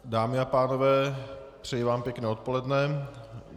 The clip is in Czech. Dámy a pánové, přeji vám pěkné odpoledne.